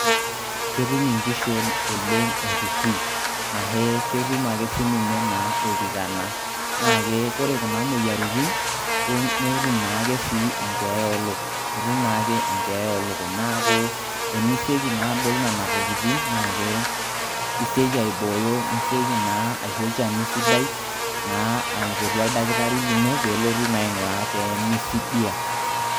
Ketum inkishu oleng' errirri, ahe ketum ake sii ninye naa oltikana naa ke ore kuna moyiaritn netum naa ake sii enkeeya oolukuny, etum naake enkeeya oolukuny naaku tenisioki naa adol nena tokitin naa ke isioki aibooyo nisioki naa aisho olchani sidai naa aipotu oldaktari lino peelotu naa aing'uraa peemisidia.